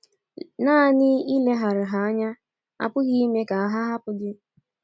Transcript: Nanị ileghara ha anya apụghị ime ka ha hapụ gị.